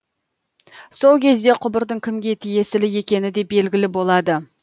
сол кезде құбырдың кімге тиесілі екені де белгілі болады